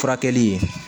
Furakɛli